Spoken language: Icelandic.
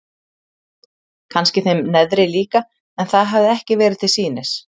Kannski þeim neðri líka en það hafði ekki verið til sýnis.